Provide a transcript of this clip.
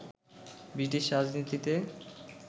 British রাজনীতিতে